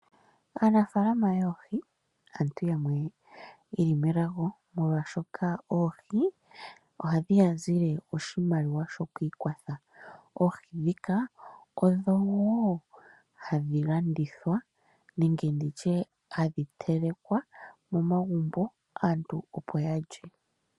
Aanafalama yoohi aantu yamwe yeli melago, molwaashoka oohi ohadhi ya zilile oshimaliwa shoku ikwatha. Oohi ndhika odhowo hadhi landithwa nenge hadhi telekwa momagumbo aantu opo ya lye.